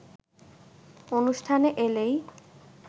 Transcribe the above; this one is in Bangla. অনুষ্ঠানে এলেই